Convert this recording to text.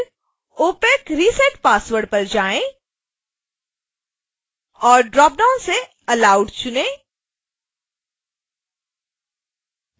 फिर opacresetpassword पर जाएँ और ड्रॉपडाउन से allowed चुनें